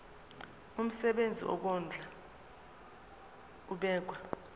umsebenzi wokondla ubekwa